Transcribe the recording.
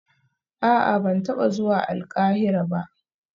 A'a ban taba zuwa Alkahira ba